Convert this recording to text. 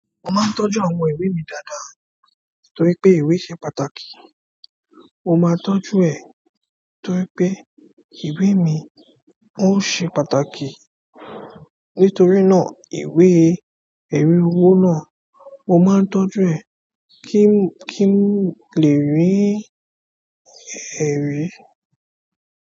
Mo máa ń tọ́jú àwọn ìwé mi dáadáa torí pé ìwé ṣe pàtàkì. Mo máa tọ́jú ẹ̀, torípé ìwé mi ó ṣe pàtàkì. Nítorí náà ìwé ẹ̀rí owó náà, mo máa ń tọ́jú ẹ̀ kí ń— kí n lè rí ẹ̀rí.